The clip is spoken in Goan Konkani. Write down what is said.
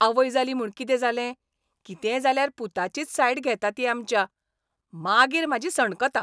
आवय जाली म्हूण कितें जालें? कितेंय जाल्यार पुताचीच सायड घेता ती आमच्या. मागीर म्हजी सणकता!